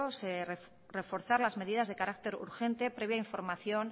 reforzar las medidas de carácter urgente previa información